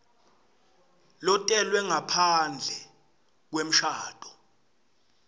lotelwe ngaphandle kwemshado